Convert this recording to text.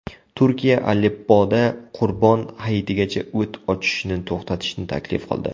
Turkiya Aleppoda Qurbon Hayitigacha o‘t ochishni to‘xtatishni taklif qildi.